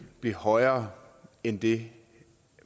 blive højere end det